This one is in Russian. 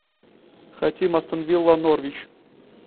хотим астон вилла норвич